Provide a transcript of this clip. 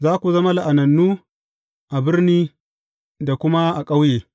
Za ku zama la’anannu a birni da kuma a ƙauye.